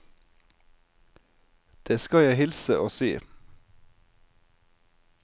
Det skal jeg hilse og si.